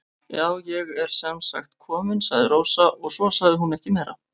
Já, ég er sem sagt komin, sagði Rósa og svo sagði hún ekki meira.